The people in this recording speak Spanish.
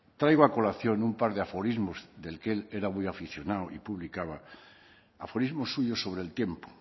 traigo a colación un par de aforismos del que él era muy aficionado y publicaba aforismos suyos sobre el tiempo